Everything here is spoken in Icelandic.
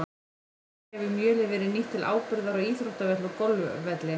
Einnig hefur mjölið verið nýtt til áburðar á íþróttavelli og golfvelli.